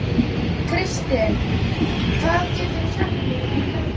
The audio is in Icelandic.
Kristin, hvað geturðu sagt mér um veðrið?